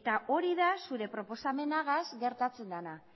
eta hori da zure proposamenagaz gertatzen dena